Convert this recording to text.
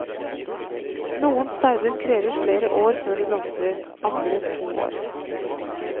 Noen stauder krever flere år før de blomstrer, andre to år.